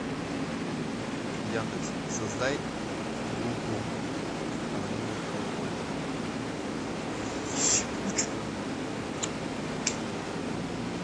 яндекс создай группу анонимных алкоголиков